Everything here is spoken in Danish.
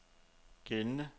gældende